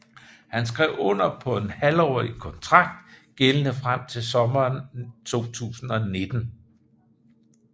Han skrev under på en halvårig kontrakt gældende frem til sommeren 2019